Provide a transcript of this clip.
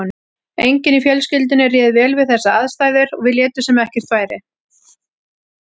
Enginn í fjölskyldunni réð vel við þessar aðstæður og við létum sem ekkert væri.